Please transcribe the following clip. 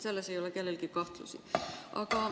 Selles ei ole kellelgi kahtlusi.